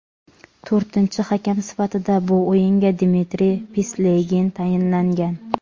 To‘rtinchi hakam sifatida bu o‘yinga Dmitriy Pislegin tayinlangan.